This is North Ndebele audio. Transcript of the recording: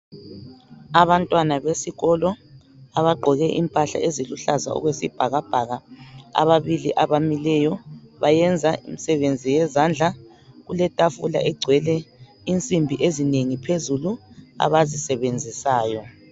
abantwana besikolo abagqoke impahla eziluhlaza okwesibhakabhaka ababili abamileyo bayenza imisebenzi yezandla kuletafula egcwele insimbi ezinengi phezulu abazisebenzisayo